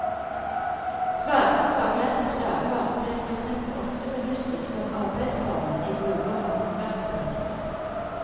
Svarte faglærte slaver ble for eksempel ofte benyttet som arbeidsformenn i gruver og håndverksbedrifter.